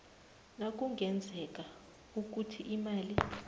nakungenzeka ukuthi imali